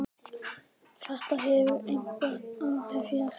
Þetta hefur einhver áhrif hér.